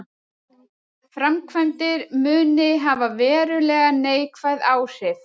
Framkvæmdir muni hafa verulega neikvæð áhrif